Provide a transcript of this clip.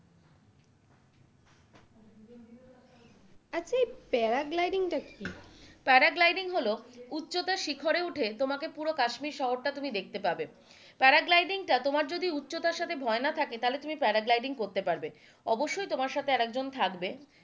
Paragliding টা কি? Paragliding হলো উচ্চতার শিখরে উঠে তোমাকে পুরো কাশ্মীর শহরটা তুমি দেখতে পাবে প্যারাগ্লাইডিং টা তোমার যদি উচ্চতার সাথে ভয় না থাকে, তাহলে তুমি প্যারাগ্লাইডিং করতে পারবে অবশ্যই তোমার সাথে আরেকজন থাকবে,